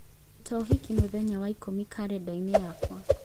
ruta ũhiki mũthenya wa ikũmi kalendarĩ-inĩ yakwa